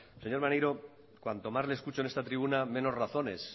señor maneiro cuanto más le escucho en esta tribuna menos razones